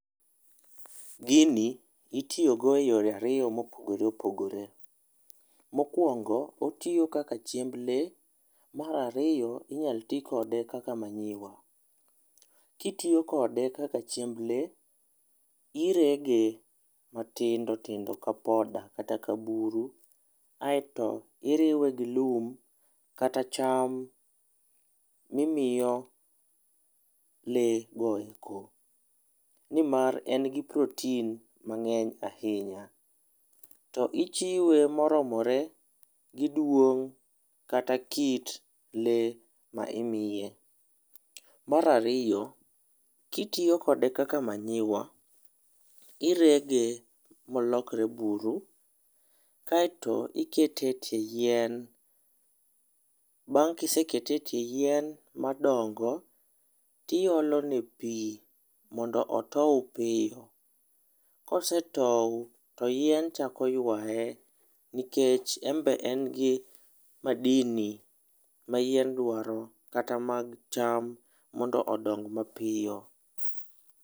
Gini itiyogo e yore ariyo mopogore opogore. Mokuongo otiyo kaka chiemb lee mar ariyo inyal tii kode kaka manyiwa. Kidwa tiyo kode kaka chiemb lee irege matindo tindo ka poda kata ka buru aito iriwe gi lum kata cham mimiyo lee goeko nimar en gi protein mangeny ahinya. To ichiwe moromore gi duong kata kit lee ma imiye. Mar ariyo ,kitiyo kode kaka manyiwa, irege molokre buru kaito ikete e tie yien . Bang kisekete e tie yien madongo, tiolone pii mondo otow piyo, kosetow to yien chako ywaye nikech en be en gi madini ma yien dwaro kata mag cham mondo odong mapiyo.